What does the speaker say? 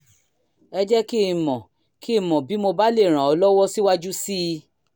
jẹ́ kí n mọ̀ kí n mọ̀ bí mo bá lè ràn ọ́ lọ́wọ́ síwájú sí i